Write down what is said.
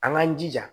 An k'an jija